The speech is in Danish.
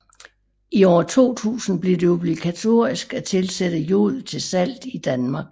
I år 2000 blev det obligatorisk at tilsætte jod til salt i Danmark